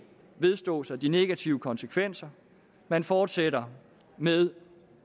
vedstå sig de negative konsekvenser man fortsætter med